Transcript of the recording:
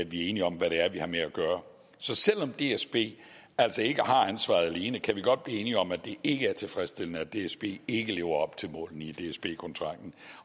vi er enige om hvad det er vi har med at gøre så selv om dsb altså ikke har ansvaret alene kan vi godt blive enige om at det ikke er tilfredsstillende at dsb ikke lever op til målene i dsb kontrakten